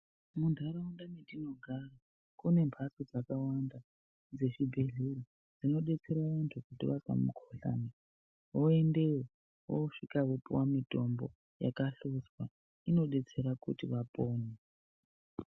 Muntharaunda metinogara kune mbatso dzakawanda dzezvibhedhlera dzinodetsera vanthu kuti vazwa mukuhlani voendeyo vosvika vopuwe mitombo yakahlodzwa inodetsera kuti vapone.